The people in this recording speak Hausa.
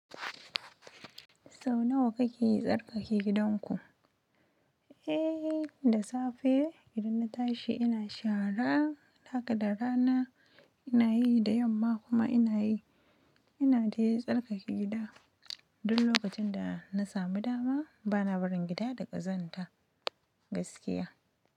Sau nawa kake tsarkake gidanku? Eh, da safe gidan na tashi ina shara, haka da rana ina yi da yamma kuma ina yi. Ina dai tsarkake gida. Duk lokacin da na sami dama bana barin gida da ƙazanta gaskiya.